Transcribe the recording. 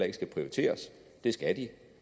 ikke skal prioriteres det skal de